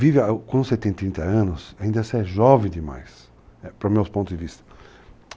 Vive com 70 anos, ainda você é jovem demais, para os meus pontos de vista.